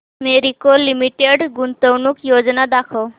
Marico limited गुंतवणूक योजना दाखव